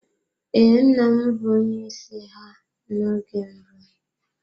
Ee, nna m bụ onye isi ha n'oge mbụ.